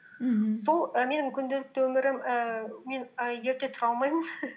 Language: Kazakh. мхм сол і менің күнделікті өмірім ііі мен і ерте тұра алмаймын